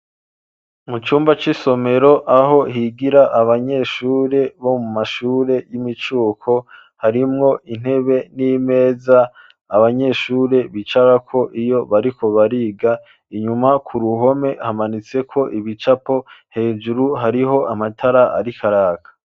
Mu cumba c'isomero aho higira abanyeshuri bo mu mashure y'imicuko. Harimwo intebe n'imeza abanyeshure bicara ko iyo bariko bariga inyuma ku ruhome hamanitse ko ibicapo hejuru hariho amatara arikaraka.